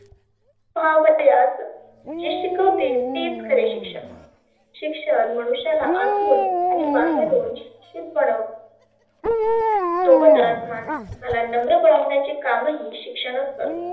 व्हावयास जे शिकवतील तेच खरे शिक्षण. शिक्षण मनुष्याला आतुन आणि बाहेरुण शिक्षीत बनवतं. सोबतच माणसाला नम्र बनवण्याचे कामही शिक्षणच करतंं.